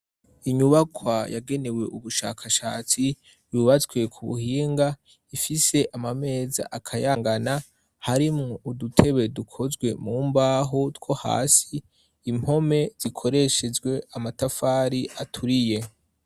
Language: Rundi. Inyubakwa yagenewe ubushakashatsi yubatswe ku buhinga ifise amameza akayangana harimwo udutebe dukozwe mu mbaho two hasi impome zikoreshejwe amatafari aturiye.